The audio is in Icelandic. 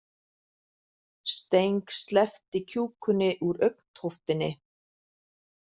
Steng sleppti kjúkunni úr augntóftinni.